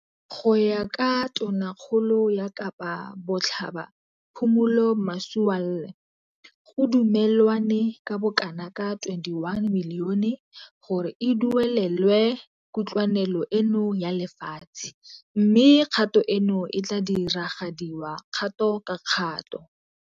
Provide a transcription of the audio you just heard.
Go ya ka Tonakgolo ya Kapa Botlhaba Phumulo Masualle, go dumelwane ka bokanaka R21 milione gore e duelelwe kutlwanelo eno ya lefatshe mme kgato eno e tla diragadiwa kgato ka kgato.